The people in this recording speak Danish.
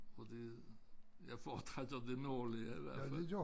Fordi jeg foretrækker det nordlige i hvert fald